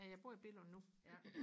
ja jeg bor i Billund nu